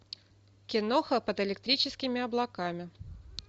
киноха под электрическими облаками